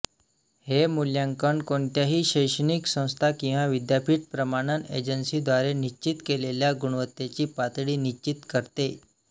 हे मूल्यांकन कोणत्याही शैक्षणिक संस्था किंवा विद्यापीठ प्रमाणन एजन्सीद्वारे निश्चित केलेल्या गुणवत्तेची पातळी निश्चित करते